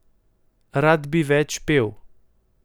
Rad bi več pel.